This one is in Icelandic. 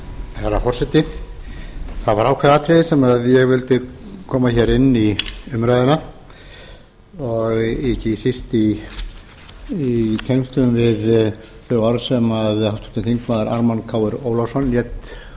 herra forseti það var ákveðið atriði sem ég vildi koma hér inn í umræðuna og ekki síst í tengslum við þau orð sem háttvirtur þingmaður ármann krónu ólafsson lét